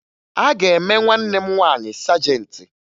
A ga-eme nwanne m nwaanyị sajentị